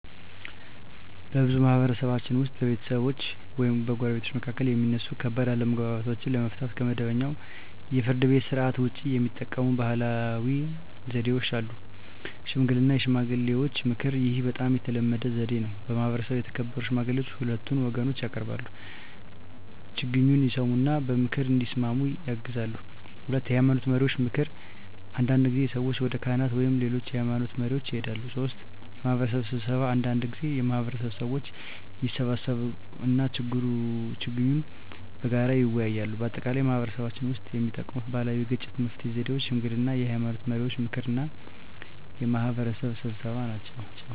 በብዙ ማህበረሰቦች ውስጥ በቤተሰቦች ወይም በጎረቤቶች መካከል የሚነሱ ከባድ አለመግባባቶችን ለመፍታት ከመደበኛው የፍርድ ቤት ሥርዓት ውጭ የሚጠቀሙ ባህላዊ ዘዴዎች አሉ። 1. ሽምግልና (የሽማግሌዎች ምክር) ይህ በጣም የተለመደ ዘዴ ነው። በማህበረሰቡ የተከበሩ ሽማግሌዎች ሁለቱን ወገኖች ያቀርባሉ፣ ችግኙን ይሰሙ እና በምክር እንዲስማሙ ያግዛሉ። 2. የሃይማኖት መሪዎች ምክር አንዳንድ ጊዜ ሰዎች ወደ ካህናት ወይም ሌሎች የሃይማኖት መሪዎች ይሄዳሉ። 3. የማህበረሰብ ስብሰባ አንዳንድ ጊዜ የማህበረሰቡ ሰዎች ይሰበሰባሉ እና ችግኙን በጋራ ይወያያሉ። በአጠቃላይ በማህበረሰባችን ውስጥ የሚጠቀሙት ባህላዊ የግጭት መፍትሄ ዘዴዎች ሽምግልና፣ የሃይማኖት መሪዎች ምክር እና የማህበረሰብ ስብሰባ ናቸው።